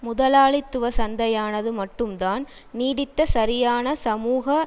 முதலாளித்துவ சந்தையானது மட்டும்தான் நீடித்த சரியான சமூக